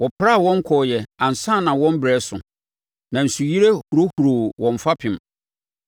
Wɔpraa wɔn kɔɔeɛ ansa na wɔn berɛ reso, na nsuyire hohoroo wɔn fapem.